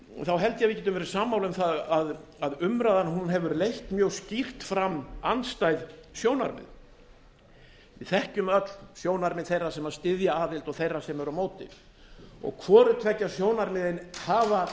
þá held ég að við getum verið sammála um að umræðan hefur leitt mjög skýrt fram andstæð sjónarmið við þekkjum öll sjónarmið þeirra sem styðja aðild og þeirra sem eru á móti hvoru tveggja sjónarmiðin hafa